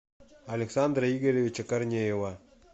александра игоревича корнеева